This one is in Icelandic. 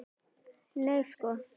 Nei sko!